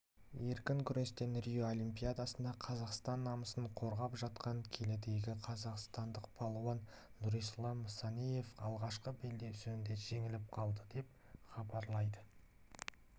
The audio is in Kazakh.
еркін күрестен рио олимпиадасында қазақстан намысын қорғап жатқан келідегі қазақстандық балуан нұрислам санаев алғашқы белдесуінде жеңіліп қалды деп хабарлайды